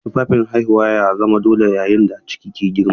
Tufafin haihuwa ya zama dole yayin da ciki ke girma.